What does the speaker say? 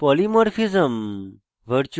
polymorphism